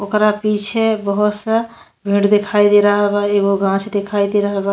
ओकरा पीछे बोहोत सा पेड़ दिखाई दे रहल बा एगो गाछ दिखाई दे रहल बा।